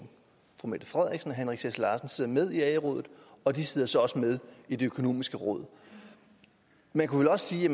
fru mette frederiksen og herre henrik sass larsen sidder med i ae rådet og de sidder så også med i det økonomiske råd man kunne vel også sige i